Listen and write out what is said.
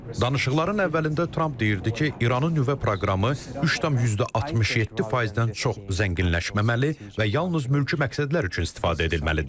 Danışıqların əvvəlində Tramp deyirdi ki, İranın nüvə proqramı 3,67%-dən çox zənginləşməməli və yalnız mülki məqsədlər üçün istifadə edilməlidir.